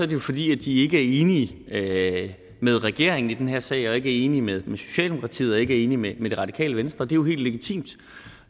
det jo fordi de ikke er enige med regeringen i den her sag og ikke er enige med socialdemokratiet og ikke er enige med det radikale venstre det er jo helt legitimt